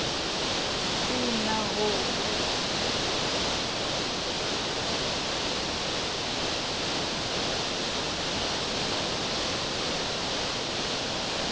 ha se na ho o